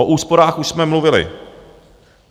O úsporách už jsme mluvili.